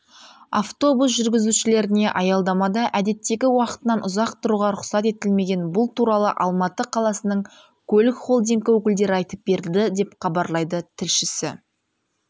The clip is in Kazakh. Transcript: автобус жүргізушілеріне аялдамада әдеттегі уақытынан ұзақ тұруға рұқсат етілмеген бұл туралы алматы қаласының көлік холдингі өкілдері айтып берді деп хабарлайды тілшісі